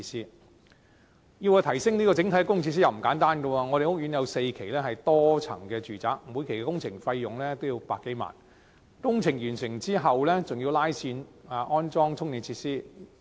然而，要提升整體的供電設施亦不簡單，我們的屋苑有4期為多層住宅，每期工程費用也要100多萬元，而工程完成後還要再拉線安裝充電設施。